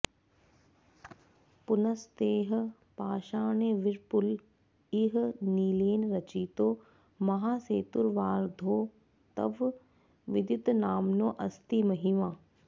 पुनस्तैः पाषाणैर्विपुल इह नीलेन रचितो महासेतुर्वार्धौ तव विदितनाम्नोऽस्ति महिमा